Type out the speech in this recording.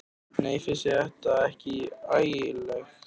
Nei, finnst þér þetta ekki ægilegt?